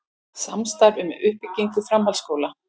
Samstarf um uppbyggingu framhaldsskóla